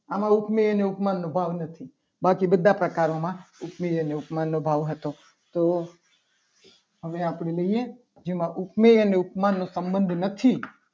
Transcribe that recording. આમાં ઉપમેય અને ઉપમાનનો ભાવ નથી. બાકી બધા પ્રકારોમાં ઉપમેય અને ઉપમાનનો ભાવ હતો. તો હવે આપણે લઈએ. જેમાં ઉપમેય અને ઉપમાન નો સંબંધ નથી.